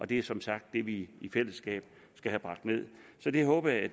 det er som sagt det vi i fællesskab skal have bragt ned og det håber jeg